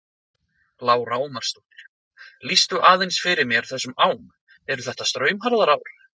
Lára Ómarsdóttir: Lýstu aðeins fyrir mér þessum ám, eru þetta straumharðar ár?